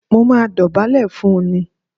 Mó máa dọ̀bálẹ̀ fún un ni